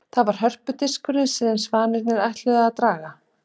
Það var hörpudiskurinn sem svanirnir ætluðu að draga.